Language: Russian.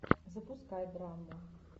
запускай драму